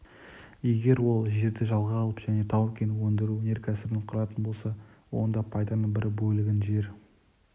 егер ол жерді жалға алып және тау-кен өндіру өнеркәсібін құратын болса онда пайданың бір бөлігін жер